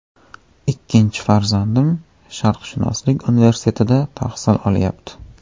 Ikkinchi farzandim Sharqshunoslik universitetida tahsil olyapti.